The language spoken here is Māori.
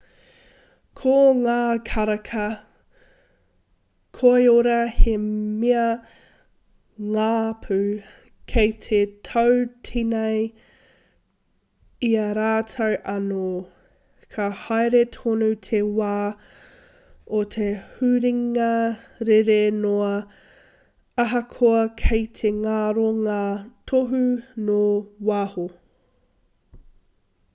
ko ngā karaka koiora he mea ngapu kei te tautīnei i a rātou anō ka haere tonu te wā o te huringa rere noa ahakoa kei te ngaro ngā tohu nō waho